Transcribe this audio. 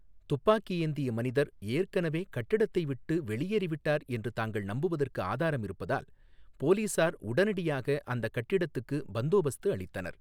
துப்பாக்கி ஏந்திய மனிதர் ஏற்கனவே கட்டிடத்தை விட்டு வெளியேறிவிட்டார் என்று தாங்கள் நம்புவதற்கு ஆதாரம் இருப்பதால் போலீசார் உடனடியாக அந்தக் கட்டிடத்துக்கு பந்தோபஸ்து அளித்தனர்.